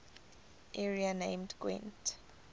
area named gwent